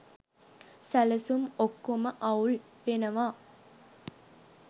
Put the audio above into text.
සැලසුම් ඔක්කොම අවුල් වෙනවා.